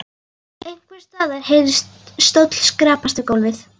Einhvers staðar heyrðist stóll skrapast við gólf.